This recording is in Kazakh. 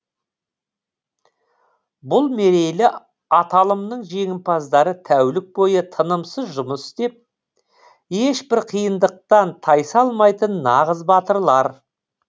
бұл мерейлі аталымның жеңімпаздары тәулік бойы тынымсыз жұмыс істеп ешбір қиындықтан тайсалмайтын нағыз батырлар